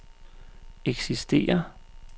eksisterer